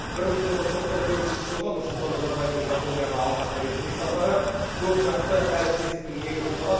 бір мың тоғыз жүз тоқсан төртінші жылғы нұрсұлтан назарбаевтың жапонияға алғашқы ресми сапары көпжақты әріптестіктің негізін қалады